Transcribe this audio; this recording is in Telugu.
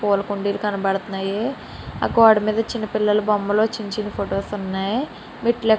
పూల కుండీలు కనబడుతున్నాయి ఆ గోడమీద చిన్న పిల్లల బొమ్మలు చిన్న చిన్న ఫోటోస్ వున్నాయి --